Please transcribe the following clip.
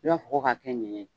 I fɔ ko ka kɛ ɲɛnɲɛn ye.